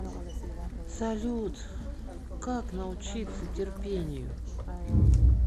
салют как научиться терпению